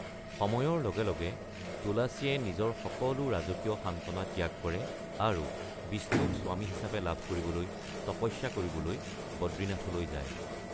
সময়ৰ লগে লগে তুলাচীয়ে নিজৰ সকলো ৰাজকীয় সান্ত্বনা ত্যাগ কৰে আৰু বিষ্ণুক স্বামী হিচাপে লাভ কৰিবলৈ তপস্যা কৰিবলৈ বদ্ৰীনাথলৈ যায়।